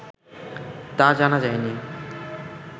তা জানা যায়নি